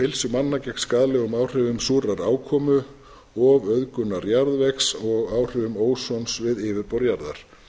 heilsu manna gegn skaðlegum áhrifum súrrar ákomu og auðgunar jarðvegs og áhrifum ósons við yfirborð jarðar